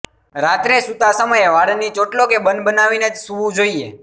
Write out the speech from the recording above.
રાત્રે સૂતા સમયે વાળની ચોટલો કે બન બનાવીને જ સૂવું જોઇએ